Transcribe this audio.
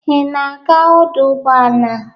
Ị na-aga ọdụ ụgboala?